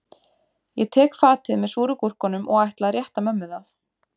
Ég tek fatið með súru gúrkunum og ætla að rétta mömmu það